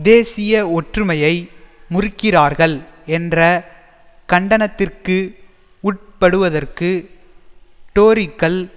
தேசிய ஒற்றுமையை முறிக்கிறார்கள் என்ற கண்டனத்திற்கு உட்படுவதற்கு டோரிக்கள்